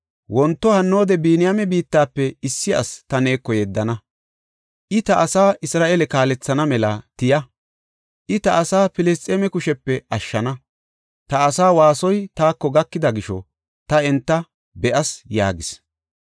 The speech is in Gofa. “Wonto hannoode Biniyaame biittafe issi asi ta neeko yeddana; I ta asaa Isra7eele kaalethana mela tiya. I ta asaa Filisxeeme kushepe ashshana; ta asa waasoy taako gakida gisho ta enta be7as” yaagis.